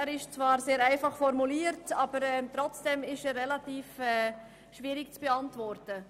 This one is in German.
Er ist zwar sehr einfach formuliert, aber trotzdem relativ schwierig zu beantworten.